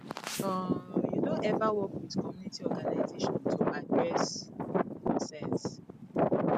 um you don ever work with community organization to address concerns